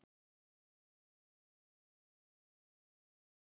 Á morgun fer ég í afmælið, manstu ekki?